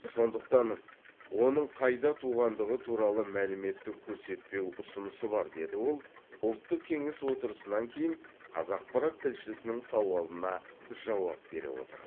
сондықтан оның қайда туғандығы туралы мәліметті көрсетпеу ұсынысы бар деді ол ұлттық кеңес отырысынан кейін қазақпарат тілшісінің сауалына жауап бере отырып